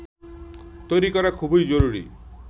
তৈরি করা খুবই জরুরি